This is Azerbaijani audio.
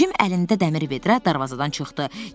Cim əlində dəmir vedrə darvazadan çıxdı.